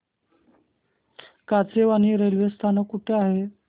Kachewani railway स्थानक कुठे आहे